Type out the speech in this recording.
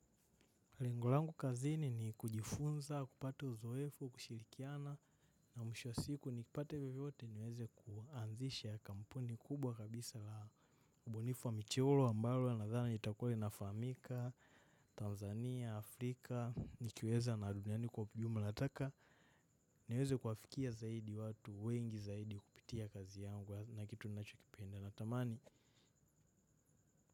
Lengo langu kazini ni kujifunza, kupata uzoefu, kushirikiana na mwisho wa siku nikipata hivi vyote niweze kuanzisha kampuni kubwa kabisa la ubunifu wa michoro ambalo nadhani itakuwa inafahamika, Tanzania, Afrika, nikiweza narudi ndani kwa jumba la taka. Niweze kuwafikia zaidi watu, wengi zaidi kupitia kazi yangu na kitu ninachokipenda natamani.